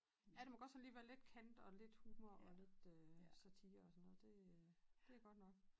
Ja der må godt sådan lige være lidt kant og lidt humor og lidt øh satire og sådan noget det øh det er godt nok